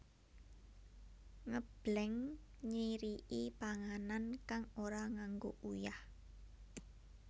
Ngebleng nyiriki panganan kang ora nganggo uyah